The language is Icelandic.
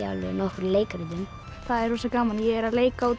nokkrum leikritum það er rosa gaman ég er að leika út